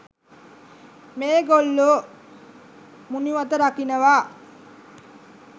මේ ගොල්ලෝ මුනිවත රකිනවා